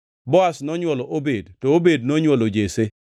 Boaz nonywolo Obed, to Obed nonywolo Jesse.